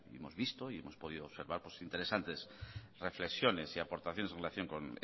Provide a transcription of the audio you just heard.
hemos visto y hemos podido observar interesantes reflexiones y aportaciones en relación con